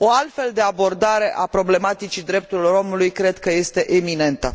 O altfel de abordare a problematicii drepturilor omului cred că este iminentă.